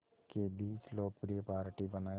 के बीच लोकप्रिय पार्टी बनाया